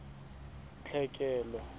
tlhekelo